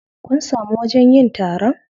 Kun samu wajen yin taron?